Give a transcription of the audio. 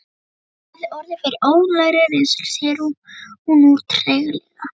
Hafði orðið fyrir óhugnanlegri reynslu, segir hún nú treglega.